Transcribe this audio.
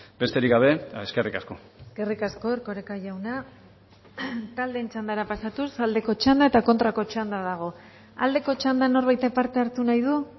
besterik gabe eskerrik asko eskerrik asko erkoreka jauna taldeen txandara pasatuz aldeko txanda eta kontrako txanda dago aldeko txandan norbaitek parte hartu nahi du